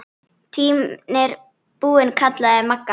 Tíminn er búinn kallaði Magga.